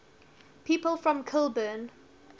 people from kilburn